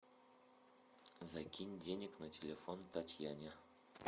закинь денег на телефон татьяне